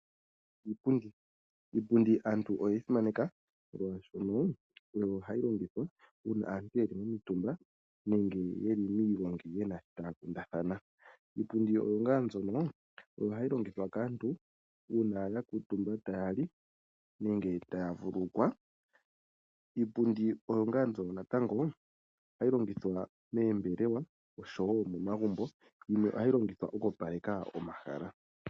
Iipundi. Iipundi aantu oyeyi simaneka molwaashoka oyo hayi longithwa uuna aantu yeli momitumba nenge yeli miigongi yena shi taya kundathana . Iipundi ohayi longithwa kaantu uuna ya kuutumba tayali nenge taya vululukwa . Iipundi natango ohayi longithwa moombelewa oshowo momagumbo ,ohayi longithwa oku opaleka omahala.